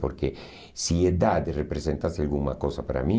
Porque se idade representasse alguma coisa para mim,